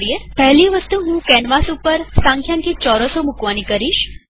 પહેલી વસ્તુ હું કેનવાસ ઉપર સંખ્યાંકિત ચોરસોગ્રીડ્સ મુકવાની કરીશ